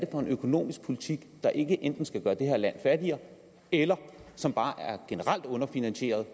for en økonomisk politik der ikke enten skal gøre det her land fattigere eller som bare er generelt underfinansieret